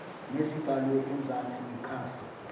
nezibhalwe ezansi nekhasi